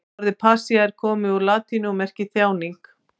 Orðið passía er komið úr latínu og merkir þjáning.